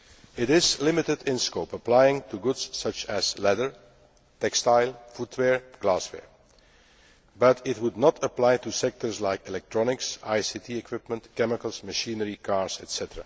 It is limited in scope, applying to goods such as leather, textiles, footwear and glassware, and it would not apply to sectors like electronics, ICT equipment, chemicals, machinery, cars, etc.